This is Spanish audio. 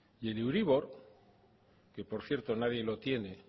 el euribor que por cierto nadie lo tiene